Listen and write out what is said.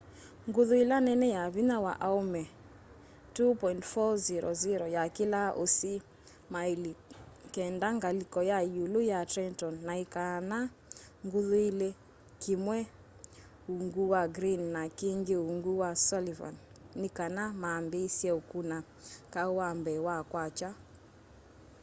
nguthu ila nene ya vinya wa aũme 2.400 yakĩlaa usi maili kenda ngaliko ya iulu ya trenton na ikaana nguthu ili kimwe uungu wa greene na kingi uungu wa sullivan ni kana maambiisye ukuna kau wa mbee wa kwakya